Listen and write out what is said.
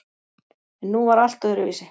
En nú var allt öðruvísi.